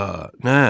A, nə!